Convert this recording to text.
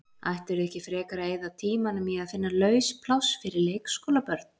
Ættirðu ekki frekar að eyða tímanum í að finna laus pláss fyrir leikskólabörn?